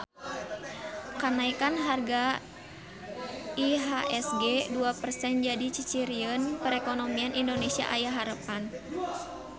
Kanaekan harga IHSG dua persen jadi ciciren perekonomian Indonesia aya harepan